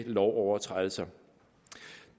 lovovertrædelser